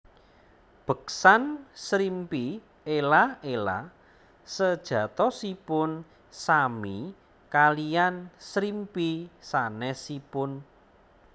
Beksan Srimpi Ela ela sejatosipun sami kalian srimpi sanesipun